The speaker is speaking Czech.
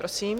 Prosím.